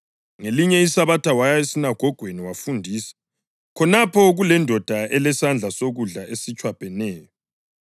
Ngelinye iSabatha waya esinagogweni wafundisa, khonapho kulendoda elesandla sokudla esitshwabheneyo.